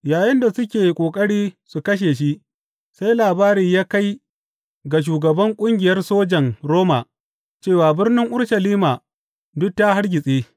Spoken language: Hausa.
Yayinda suke ƙoƙari su kashe shi, sai labari ya kai ga shugaban ƙungiyar sojan Roma cewa birnin Urushalima duk ta hargitse.